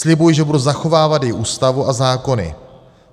Slibuji, že budu zachovávat její Ústavu a zákony.